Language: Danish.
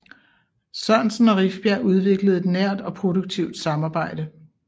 Sørensen og Rifbjerg udviklede et nært og produktivt samarbejde